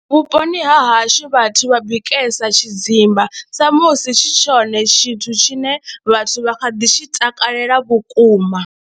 Vhuponi ha hashu vhathu vha bikesa tshidzimba sa musi tshi tshone tshithu tshine vhathu vha kha ḓi tshi takalela vhukuma.